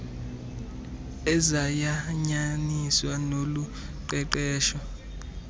ezayanyaniswa nolu qeqesho